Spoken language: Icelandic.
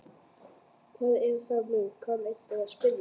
Hvað er það nú, kann einhver að spyrja.